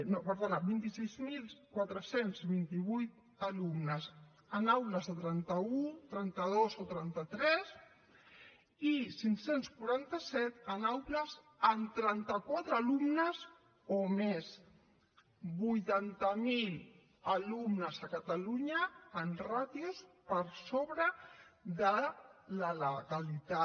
no perdona vint sis mil quatre cents i vint vuit alumnes en aules de trenta un trenta dos o trenta tres i cinc cents i quaranta set en aules amb trenta quatre alumnes o més vuitanta miler alumnes a catalunya amb ràtios per sobre de la legalitat